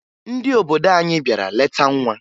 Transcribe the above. Ndị obodo anyị bịara leta nwa